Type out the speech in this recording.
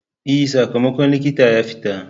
E, sakamakon likita ya fita.